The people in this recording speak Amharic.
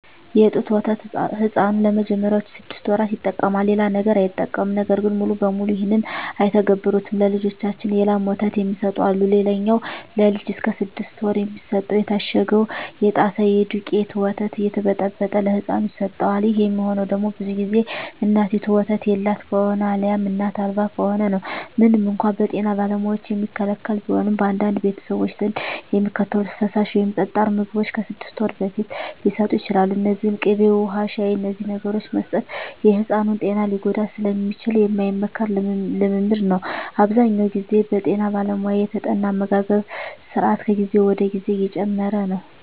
የጡት ወተት ሕፃኑ ለመጀመሪያዎቹ ስድስት ወራት ይጠቀማል። ሌላ ነገር አይጠቀምም። ነገር ግን ሙሉ በሙሉ ይህን አይተገብሩትም። ለልጃቸው የላም ወተት የሚሰጡ አሉ። ሌላኛው ለልጅ እስከ ስድስት ወር የሚሰጠው የታሸገው የጣሳ የደውቄቱ ወተት እየተበጠበጠ ለህፃኑ ይሰጠዋል። ይህ የሚሆነው ደግሞ ብዙ ግዜ እናቲቱ ወተት የላት ከሆነ አልያም እናት አልባ ከሆነ ነው። ምንም እንኳን በጤና ባለሙያዎች የሚከለከል ቢሆንም፣ በአንዳንድ ቤተሰቦች ዘንድ የሚከተሉት ፈሳሽ ወይም ጠጣር ምግቦች ከስድስት ወር በፊት ሊሰጡ ይችላሉ። እነዚህም ቅቤ፣ ውሀ፣ ሻሂ…። እነዚህን ነገሮች መስጠት የሕፃኑን ጤና ሊጎዳ ስለሚችል የማይመከር ልምምድ ነው። አብዛኛውን ግዜ በጠና ባለሙያ የተጠና አመጋገብ ስራት ከጊዜ ወደ ጊዜ እየጨመረ ነው።